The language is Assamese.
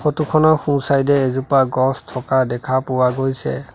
ফটো খনৰ সোঁ চাইড এ এজোপা গছ থকা দেখা পোৱা গৈছে।